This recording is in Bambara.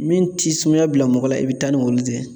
Min ti sumaya bila mɔgɔ la i bɛ taa ni olu de ye